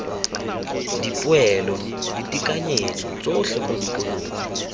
dipoelo ditekanyetso tsotlhe mo dikolong